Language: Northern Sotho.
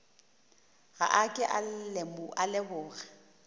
ga a ke a leboga